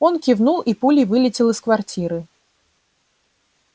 он кивнул и пулей вылетел из квартиры